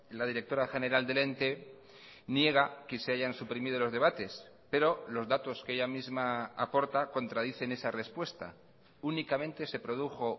la directora general del ente niega que se hayan suprimido los debates pero los datos que ella misma aporta contradicen esa respuesta únicamente se produjo